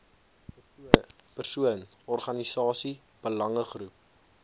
persoon organisasie belangegroep